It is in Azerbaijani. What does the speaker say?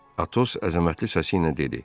Atos əzəmətli səsi ilə dedi: